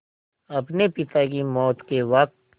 अपने पिता की मौत के वक़्त